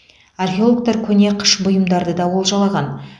археологтар көне қыш бұйымдарды да олжалаған